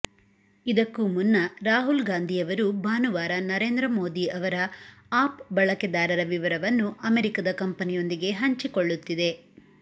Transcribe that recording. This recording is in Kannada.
ಇದಕ್ಕೂ ಮುನ್ನ ರಾಹುಲ್ ಗಾಂಧಿ ಅವರು ಭಾನುವಾರ ನರೇಂದ್ರ ಮೋದಿ ಅವರ ಆಪ್ ಬಳಕೆದಾರರ ವಿವರವನ್ನು ಅಮೆರಿಕದ ಕಂಪನಿಯೊಂದಿಗೆ ಹಂಚಿಕೊಳ್ಳುತ್ತಿದೆ